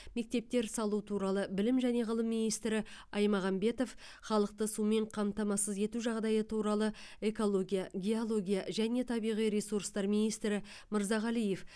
мектептер салу туралы білім және ғылым министрі аймағамбетов халықты сумен қамтамасыз ету жағдайы туралы экология геология және табиғи ресурстар министрі мырзағалиев